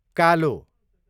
कालो